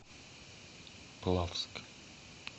плавск